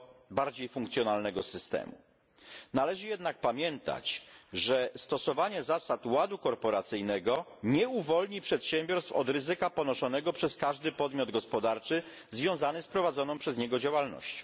bardziej funkcjonalnego systemu. Należy jednak pamiętać, że stosowanie zasad ładu korporacyjnego nie uwolni przedsiębiorstw od ryzyka ponoszonego przez każdy podmiot gospodarczy związany z prowadzoną przez niego działalnością.